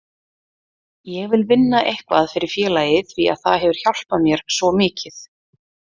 Ég vil vinna eitthvað fyrir félagið því að það hefur hjálpað mér svo mikið.